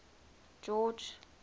george